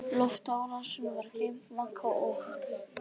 Loftárásin var gleymd, Magga og